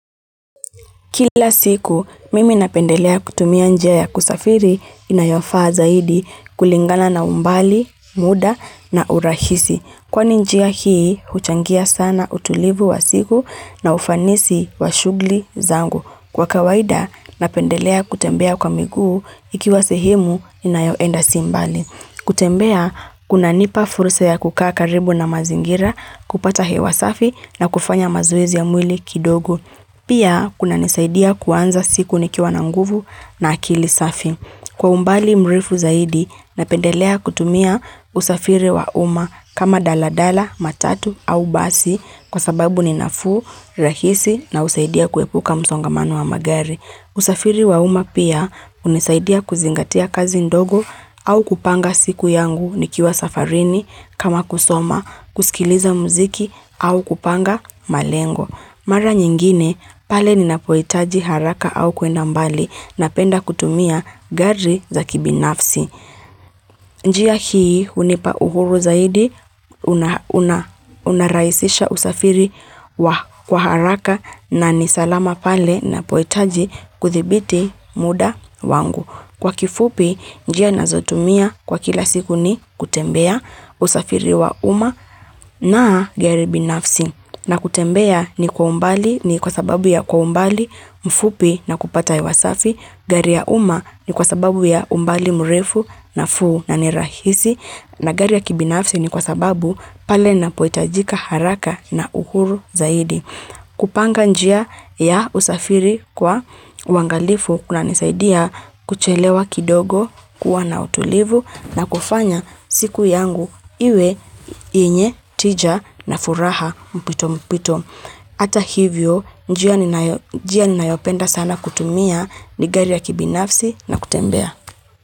Kila siku, mimi napendelea kutumia njia ya kusafiri inayofaa zaidi kulingana na umbali, muda na urahisi. Kwani njia hii, huchangia sana utulivu wa siku na ufanisi wa shugli zangu. Kwa kawaida, napendelea kutembea kwa miguu ikiwa sehemu ninayoenda si mbali. Kutembea, kunanipa furusa ya kukaa karibu na mazingira, kupata hewa safi na kufanya mazoezi ya mwili kidogo. Pia, kuna nisaidia kuanza siku nikiwa na nguvu na akili safi. Kwa umbali mrefu zaidi, napendelea kutumia usafiri wa uma kama daladala, matatu au basi kwa sababu ninafuu, rahisi na usaidia kuepuka msongamano wa magari. Usafiri wa uma pia umesaidia kuzingatia kazi ndogo au kupanga siku yangu nikiwa safarini kama kusoma, kusikiliza mziki au kupanga malengo. Mara nyingine, pale ninapohitaji haraka au kwenda mbali napenda kutumia gari za kibinafsi. Njia hii hunipa uhuru zaidi, unarahisisha usafiri wa haraka na nisalama pale napohitaji kuthibiti muda wangu. Kwa kifupi njia nazotumia kwa kila siku ni kutembea usafiri wa uma na gari binafsi na kutembea ni kwa umbali ni kwa sababu ya kwa umbali mfupi na kupata hewa safi. Gari ya uma ni kwa sababu ya umbali mrefu nafuu na nirahisi na gari ya kibinafsi ni kwa sababu pale na pohitajika haraka na uhuru zaidi. Kupanga njia ya usafiri kwa uangalifu kuna nisaidia kuchelewa kidogo kuwa na utulivu na kufanya siku yangu iwe yenye tija na furaha mpito mpito. Hata hivyo njia ninayopenda sana kutumia ni gari ya kibinafsi na kutembea.